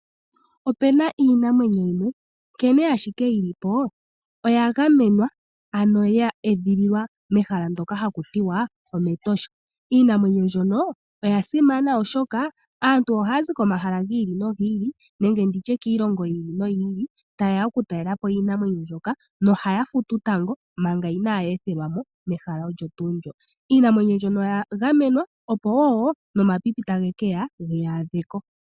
Opena iinamwenyo yimwe nkene ashike yili po oya gamenwa ano ya edhililwa mehala ndoka haku tiwa omEtosha. Iinamwenyo mbyono oya simana oshoka aantu ohaya zi komahala gi ili nogi ili nenge nditye kiilongo yi ili noyi ili ta yeya okutalela po iinamwenyo mbyoka nohaya futu tango manga inaa ye ethelwa mo mehala olyo nduu lyo. Iinamwenyo mbyono oya gamenwa opo wo omapipi tage keya geyaadheko.